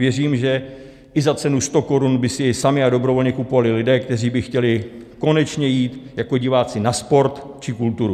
Věřím, že i za cenu 100 korun by si je sami a dobrovolně kupovali lidé, kteří by chtěli konečně jít jako diváci na sport či kulturu.